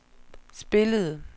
spillede